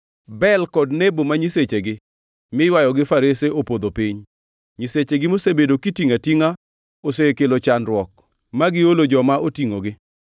Bel kod Nebo ma nyisechegi miywayo gi farese opodho piny. Nyisechegi mosebedo kitingʼo atingʼa osekelo chandruok ma giolo joma otingʼogi.